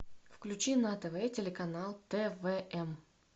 включи на тв телеканал твм